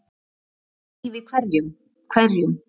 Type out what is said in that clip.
Dýralíf í hverum